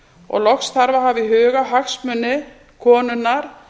og loks þarf að hafa í huga hagsmuni konunnar